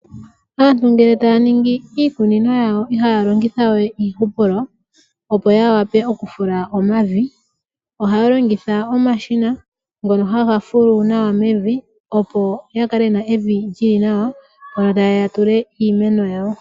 Aantu ngele taya ningi iikunino yawo ihaya longitha we iihupulo opo ya wape oku fula omavi. Ohaya longitha omashina ngono haga fulu nawa mevi, opo ya kale yena evi lyili nawa, mpono ta yeya ya tule iimeno yawo.